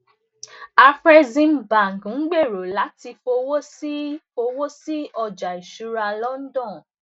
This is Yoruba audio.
cs] afreximbank n gbero lati fowo si fowo si ọja iṣura london